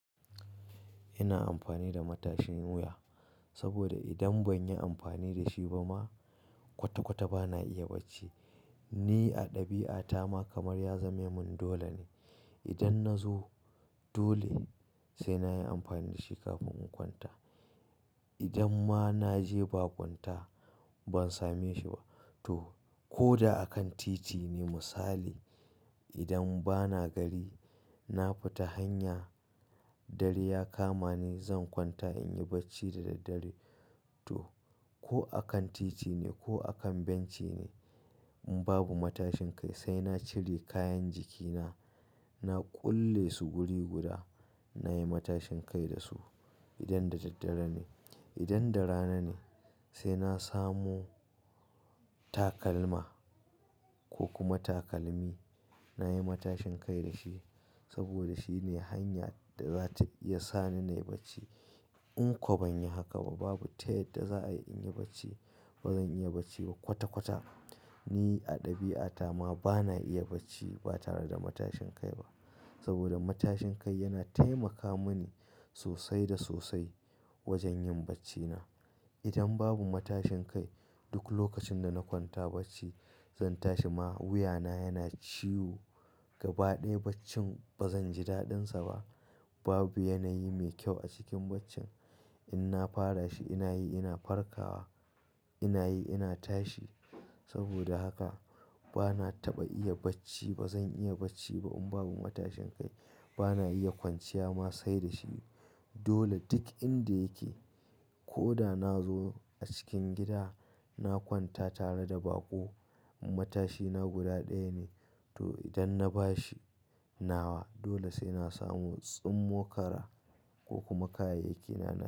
Ina amfani da matashin wuya saboda idan ban yi amfani da shi ba ma kwata-kwata ba na iya bacci. Ni a ɗabi'ata ma kamar ya zame mun dole ne idan nazo dole sai na yi amfani da shi kafin in kwanta. Idan ma na je ba kwanta ban same shi ba to koda a kan titi ne misali idan bana gari na fita hanya dare ya kama ni zan kwanta in yi bacci da daddare. To ko a kan titi ne ko a kan benci ne in babu matashin kai sai na cire kayan jikina, na kulle su guri guda, na yi matashin kai da su idan da daddare ne. Idan da rana ne sai na samu takalma ko kuma takalmi na yi matashin kai da shi saboda shi ne hanya da za ta iya sani na yi bacci. In ko banyi haka ba babu tayadda za a yi in yi bacci. Ba zan iya bacci ba kwata-kwata. Ni a ɗabi'ata ma ba na iya bacci ba tare da matashin kai ba saboda matashin kai yana taimaka mini sosai da sosai wajen yin baccina. Idan babu matashin kai duk lokacin da na kwanta bacci zan tashi ma wuyana yana ciwo gaba ɗaya baccin ba zan ji daɗinsa ba. Babu yanayi mai kyau a cikin baccin. In na fara shi ina yi ina farkawa, ina yi ina tashi. Saboda haka ba na taɓa iya bacci ba. Zan iya bacci ba in babu matashin kai. Ba na iya kwanciya ma sai da shi. Dole duk inda yake ko da na zo a cikin gida na kwanta tare da baƙo matashina guda ɗaya ne. To idan na bashi nawa dole sai na samu tsummokara ko kuma kayayyakina na.